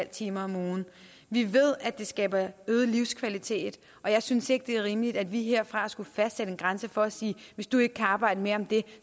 timer om ugen vi ved at det skaber øget livskvalitet og jeg synes ikke det er rimeligt at vi herfra skal fastsætte en grænse og sige hvis du ikke kan arbejde mere end det